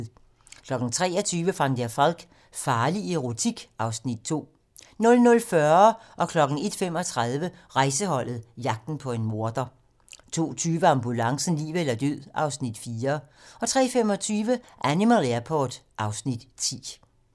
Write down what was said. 23:00: Van der Valk - farlig erotik (Afs. 2) 00:40: Rejseholdet - jagten på en morder 01:35: Rejseholdet - jagten på en morder 02:20: Ambulancen - liv eller død (Afs. 4) 03:25: Animal Airport (Afs. 10)